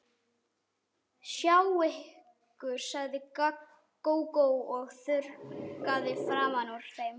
Sjá ykkur, sagði Gógó og þurrkaði framan úr þeim.